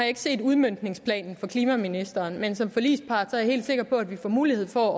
ikke set udmøntningsplanen fra klimaministeren men som forligspart er jeg helt sikker på at vi får mulighed for